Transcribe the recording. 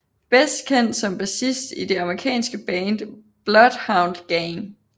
Bedst kendt som bassist i det amerikanske band Bloodhound Gang